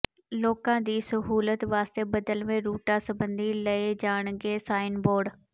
ਲੋਕਾਂ ਦੀ ਸਹੂਲਤ ਵਾਸਤੇ ਬਦਲਵੇਂ ਰੂਟਾਂ ਸਬੰਧੀ ਲਾਏ ਜਾਣਗੇ ਸਾਈਨ ਬੋਰਡ